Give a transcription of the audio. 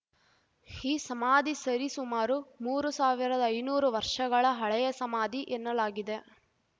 ಈ ಸಮಾಧಿ ಸರಿ ಸುಮಾರು ಮೂರು ಸಾವಿರದಐನೂರು ವರ್ಷಗಳ ಹಳೆಯ ಸಮಾಧಿ ಎನ್ನಲಾಗಿದೆ